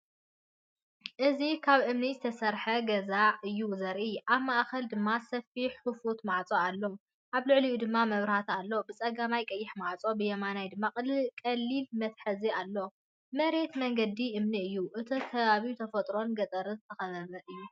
እዚ ካብ እምኒ ዝተሰርሐ ገዛ እዩ ዘርኢ፤ ኣብ ማእከል ድማ ሰፊሕ ክፉት ማዕጾ ኣሎ፣ ኣብ ልዕሊኡ ድማ መብራህቲ ኣሎ። ብጸጋም ቀይሕ ማዕጾ ብየማን ድማ ቀሊል መትሓዚ ኣሎ። መሬት መንገዲ እምኒ እዩ። እቲ ከባቢ ብተፈጥሮን ገጠርን ዝተኸበበ እዩ።